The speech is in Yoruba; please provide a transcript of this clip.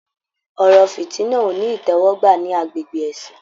Ọ̀rọ̀ fitina o ní itẹwọgbà ní agbègbè ẹ̀sìn.